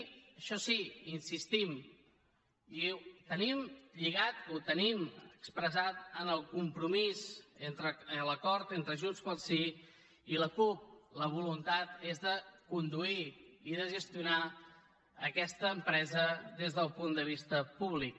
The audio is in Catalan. això sí hi insistim i ho tenim lligat ho tenim expressat en el compromís l’acord entre junts pel sí i la cup la voluntat és de conduir i de gestionar aquesta empresa des del punt de vista públic